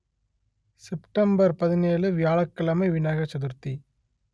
September பதினேழு வியாழக் கிழமை விநாயகர் சதுர்த்தி